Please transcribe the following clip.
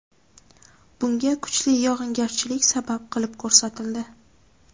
Bunga kuchli yog‘ingarchilik sabab qilib ko‘rsatildi.